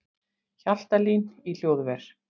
Hjaltalín í hljóðver